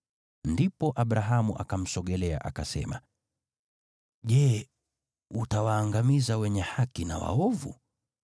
Ndipo Abrahamu akamsogelea akasema: “Je, utawaangamiza wenye haki na waovu?